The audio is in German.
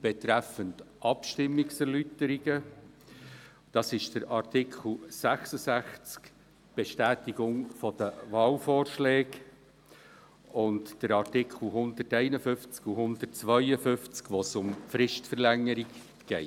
betreffend Abstimmungserläuterungen, den Artikel 66 betreffend Bestätigung von Wahlvorschlägen sowie die Artikel 151 und 152, in welchen es um Fristverlängerungen geht.